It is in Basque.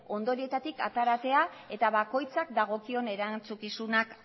ondoreetatik ateratzea eta bakoitzak dagokion erantzukizunak